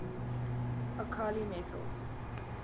alkali metals